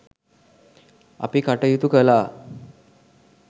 අපි කටයුතු කළා.